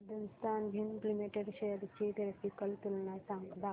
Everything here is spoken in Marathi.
हिंदुस्थान झिंक लिमिटेड शेअर्स ची ग्राफिकल तुलना दाखव